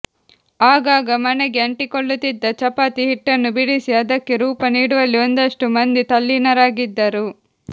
ಆಗಾಗ ಮಣೆಗೆ ಅಂಟಿಕೊಳ್ಳುತ್ತಿದ್ದ ಚಪಾತಿ ಹಿಟ್ಟನ್ನು ಬಿಡಿಸಿ ಅದಕ್ಕೆ ರೂಪ ನೀಡುವಲ್ಲಿ ಒಂದಷ್ಟು ಮಂದಿ ತಲ್ಲೀನರಾಗಿದ್ದರು